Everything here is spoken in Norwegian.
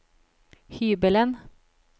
hybelen